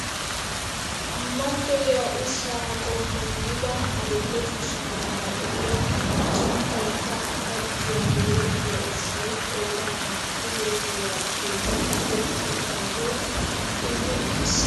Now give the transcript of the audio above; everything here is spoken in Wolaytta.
Mattoyiyaa ushshaa qommo gidida adil'e cishsha meraara de'iyaa a sunttayikka xajjiyaa getettiyaa ushshay qoodan naa"u birilliyaa bolli tigetti uttidaage xilli uttiis!